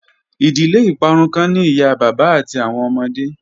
Idile iparun kan ni iya baba ati awọn ọmọde